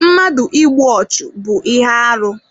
Mmadụ ịgbụ ọchu bú ihe arụ